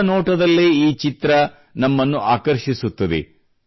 ಮೊದಲ ನೋಟದಲ್ಲೇ ಈ ಚಿತ್ರ ನಮ್ಮನ್ನು ಆಕರ್ಷಿಸುತ್ತದೆ